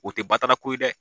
O tɛ batara ko ye dɛ.